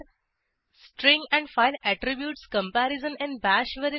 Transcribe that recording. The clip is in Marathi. string and file attributes comparison in bash